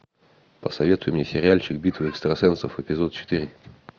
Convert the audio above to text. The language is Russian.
посоветуй мне сериальчик битва экстрасенсов эпизод четыре